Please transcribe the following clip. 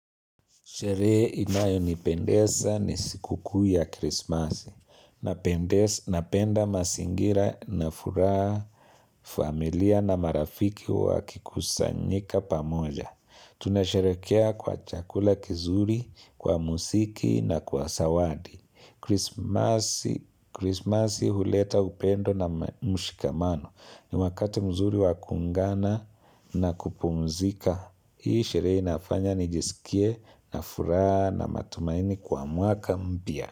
Sherehe inayo nipendeza ni siku kuu ya krismasi. Napenda mazingira na furaha familia na marafiki wakikusanyika pamoja. Tunasherekea kwa chakula kizuri, kwa muziki na kwa zawadi. Krismasi huleta upendo na mshikamano. Ni wakati mzuri wa kuungana na kupumzika. Hii sherehe inafanya nijisikie na furaha na matumaini kwa mwaka mpya.